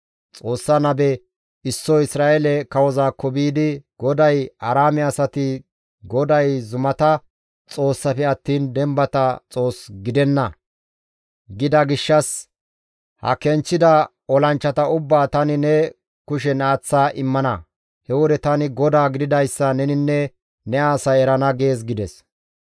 Xoossa nabe issoy Isra7eele kawozaakko biidi, «GODAY, ‹Aaraame asati GODAY zumata Xoossafe attiin dembata Xoos gidenna; gida gishshas ha kenchchida olanchchata ubbaa tani ne kushen aaththa immana. He wode tani GODAA gididayssa neninne ne asay erana› gees» gides.